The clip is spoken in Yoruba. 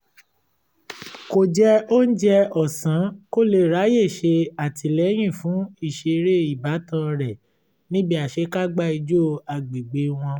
kò jẹ oúnjẹ ọsàn kó lè ráyè ṣe àtìlẹyìn fún ìṣeré ìbátan rẹ̀ níbi àṣekágbá ìjó agbègbè wọn